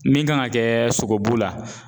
Min kan ŋa kɛɛ sogobu la